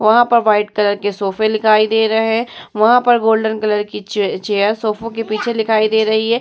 वहां पर white colour के सोफ़े लिखाई दे रहे हैं। वहां पर गोल्डन कलर की चेयर सोफ़ो के पीछे लिखाई दे रही है।